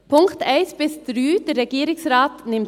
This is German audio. Die Punkte 1 bis 3 nimmt der Regierungsrat an.